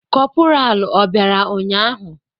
Kopuralu obịara ụnyahụ?